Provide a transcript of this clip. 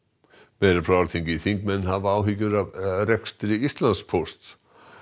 þingmenn hafa áhyggjur af rekstri Íslandspósts